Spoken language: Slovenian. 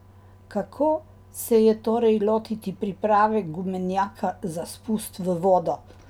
Kako se torej lotiti priprave gumenjaka za spust v vodo?